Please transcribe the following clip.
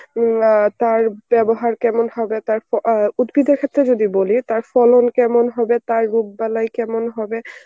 উম আ তার ব্যবহার কেমন হবে তার প~ অ্যাঁ উদ্ভিদের ক্ষেত্রে যদি বলি তার ফলন কেমন হবে তার রোগ বালাই কেমন হবে